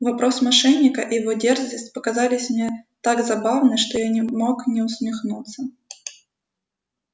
вопрос мошенника и его дерзость показались мне так забавны что я не мог не усмехнуться